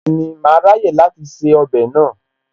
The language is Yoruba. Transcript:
Bẹ́ẹ̀ni, màá ráyè láti se ọbẹ̀ náà